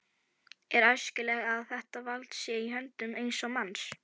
Er æskilegt að þetta vald sé í höndum eins manns?